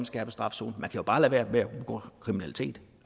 skærpet straf zone man kan bare lade være med at begå kriminalitet